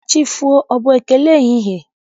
Ka chi fo, ọ bụ ekele ehihie?